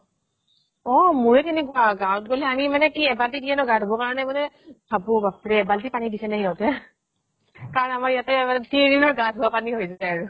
অʼমোৰেই কেনেকুৱা গাওঁ ত গʼলে আমি মানে কি এবাতি দিয়ে তো গা ধুৱ কাৰণে মানে ভাৱো বাপৰে এবাল্টি পানী দিছে নে সিহঁতে কাৰণ আমাৰ ইয়াতে মানে তিন দিনৰ গা ধুৱা পানী হৈ যায় আৰু ।